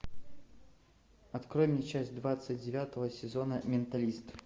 открой мне часть двадцать девятого сезона менталист